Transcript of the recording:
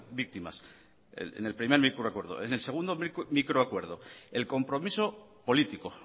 víctimas en el primer microacuerdo en el segundo microacuerdo el compromiso político